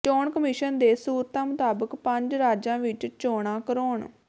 ਚੋਣ ਕਮਿਸ਼ਨ ਦੇ ਸੂਤਰਾਂ ਮੁਤਾਬਕ ਪੰਜ ਰਾਜਾਂ ਵਿੱਚ ਚੋਣਾਂ ਕਰਾਉਣ